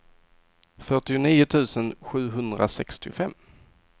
fyrtionio tusen sjuhundrasextiofem